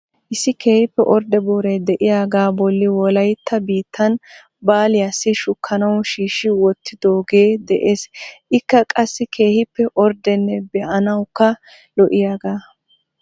Issi keehippe ordde booray de'iyaaga bolli Wolayttan biittan baaliyassi shukkanaw shiishi wottidooge de'ees. Ekka qassi keehippe orddenne be'anawukka lo"iyaaga .